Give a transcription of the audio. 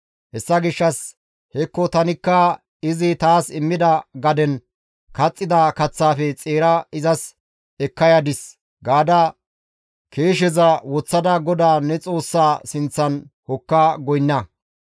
Hessa gishshas hekko tanikka izi taas immida gaden kaxxida kaththaafe xeera izas ekka yadis» gaada keesheza woththada GODAA ne Xoossaa sinththan hokka goynna.